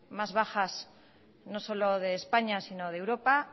más bajas no solo de españa sino de europa